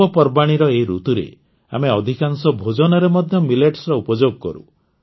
ପର୍ବପର୍ବାଣୀର ଏହି ଋତୁରେ ଆମେ ଅଧିକାଂଶ ଭୋଜନରେ ମଧ୍ୟ ମିଲେଟ୍ସର ଉପଯୋଗ କରୁ